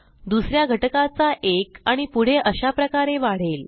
दुस या घटकाचा 1 आणि पुढे अशाप्रकारे वाढेल